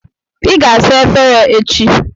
Ị ga-asa efere echi.